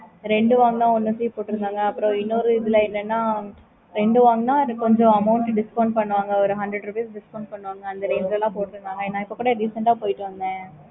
okay mam